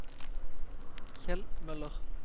Kjell Møller